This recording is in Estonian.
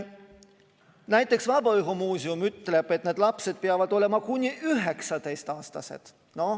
Näiteks Vabaõhumuuseum ütleb, et need lapsed peavad olema kuni 19‑aastased.